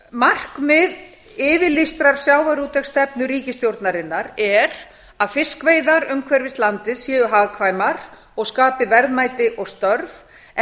markmið yfirlýstrar sjávarútvegsstefnu ríkisstjórnarinnar er að fiskveiðar umhverfis landið séu hagkvæmar og skapi verðmæti og störf en